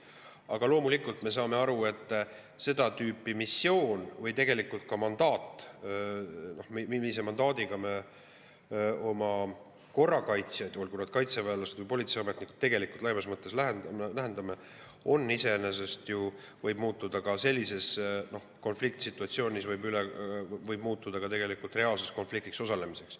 Aga loomulikult me saame aru, et seda tüüpi missioon, kuhu me oma mandaadiga korrakaitsjaid, olgu need kaitseväelased või politseiametnikud, lähetame, võib sellises konfliktsituatsioonis muutuda reaalseks konfliktis osalemiseks.